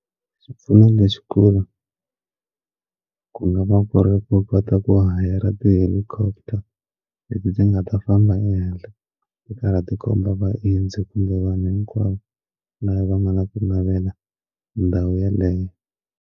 Xipfuno lexi kulu ku nga va ku ri va kota ku hayara ti-helicopter leti ndzi nga ta famba ehenhla ti ka ra tikhomba vaendzi kumbe vanhu hinkwavo lava va nga na ku navela ndhawu yeleyo.